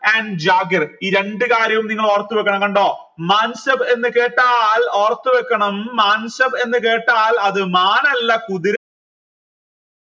and ഈ രണ്ടു കാര്യവും നിങ്ങൾ ഓർത്തു വെക്കണം കണ്ടോ എന്ന് കേട്ടാൽ ഓർത്തു വെക്കണം എന്ന് കേട്ടാൽ അത് മാനല്ല കുതിര